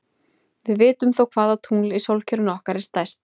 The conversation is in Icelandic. Við vitum þó hvaða tungl í sólkerfinu okkar er stærst.